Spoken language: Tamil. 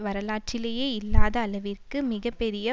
வரலாற்றிலேயே இல்லாத அளவிற்கு மிக பெரிய